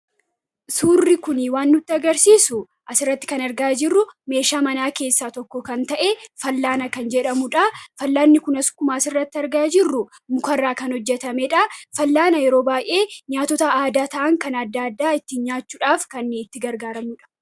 Suurri kun waan nutti agarsiisu meeshaa manaa keessaa tokko kan ta'e fal'aana kan jedhamudha. Fal'aanni kunis akkuma asirratti argaa jirru muka irraa kan hojjetamedha. Fal'aana yeroo baay'ee nyaata aadaa kan ta'an adda addaa ittiin nyaachuudhaaf kan itti gargaaramnudha.